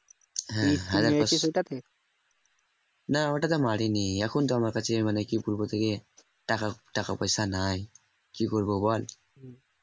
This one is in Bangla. না ঐটা তে মারিনি এখন তো আমার কাছে মানে কি বলবো তোকে টাকা পয়সা নয় কি করব বল